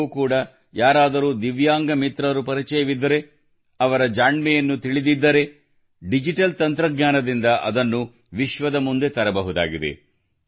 ನಿಮಗೂ ಕೂಡ ಯಾರಾದರೂ ದಿವ್ಯಾಂಗ ಮಿತ್ರರು ಪರಿಚಯವಿದ್ದರೆ ಅವರ ಜಾಣ್ಮೆಯನ್ನು ತಿಳಿದಿದ್ದರೆ ಡಿಜಿಟಲ್ ತಂತ್ರಜ್ಞಾನದಿಂದ ಅದನ್ನು ವಿಶ್ವದ ಮುಂದೆ ತರಬಹುದಾಗಿದೆ